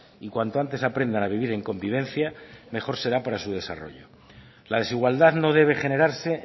y cuanto antes aprendan a vivir en convivencia mejor será para su desarrollo la desigualdad no debe generarse